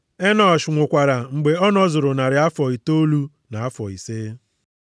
Enọsh nwụkwara mgbe ọ nọzuru narị afọ itoolu na afọ ise.